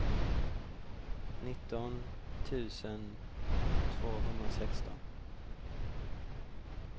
nitton tusen tvåhundrasexton